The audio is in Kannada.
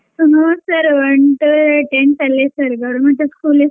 ಹುನ್ sir one to tenth ಅಲ್ಲೆ sir government school sir .